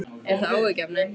Er það áhyggjuefni?